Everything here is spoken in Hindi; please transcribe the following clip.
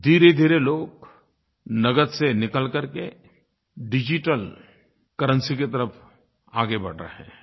धीरेधीरे लोग नकद से निकल करके डिजिटल करेंसी की तरफ़ आगे बढ़ रहे हैं